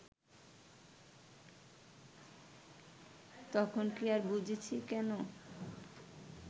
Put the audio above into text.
তখন কি আর বুঝেছি কেন